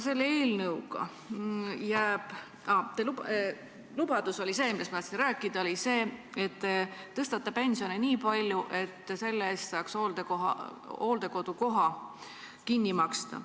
Teie lubadus, millest ma tahtsin rääkida, oli see, et te tõstate pensioni nii palju, et selle eest saaks hooldekodukoha kinni maksta.